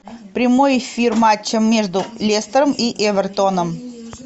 прямой эфир матча между лестером и эвертоном